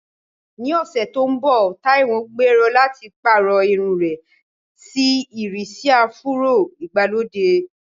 Ní ọ̀sẹ̀ tó ń bọ̀, Taiwo gbèrò láti pààrọ̀ irun rẹ̀ sí ìrísí áfúró ìgbàlódé.